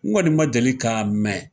N kɔni ma deli ka mɛn.